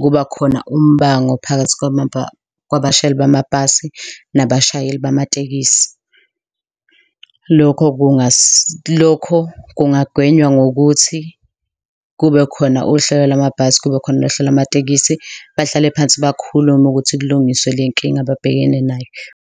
kuba khona umbango phakathi kwabashayeli bamabhasi nabashayeli bamatekisi. Lokho kungagwenywa ngokuthi kube khona uhlelo lwamabhasi, kububekhona nohlelo lwamatekisi, bahlale phansi bakhulume ukuthi kulungiswe le nkinga abhekene nayo.